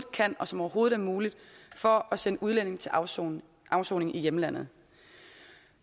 kan og som overhovedet er muligt for at sende udlændinge til afsoning afsoning i hjemlandet